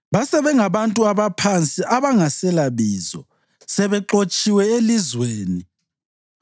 Base bengabantu abaphansi abangaselabizo, sebexotshiwe elizweni.